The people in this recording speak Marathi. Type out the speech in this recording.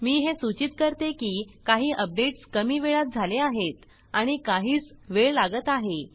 मी हे सूचीत करते की काही अपडेट्स कमी वेळात झाले आहेत आणि काहीस वेळ लागत आहे